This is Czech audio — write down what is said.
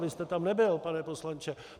Vy jste tam nebyl, pane poslanče.